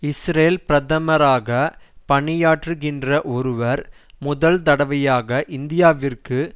Israel பிரதமராக பணியாற்றுகின்ற ஒருவர் முதல் தடவையாக இந்தியாவிற்கு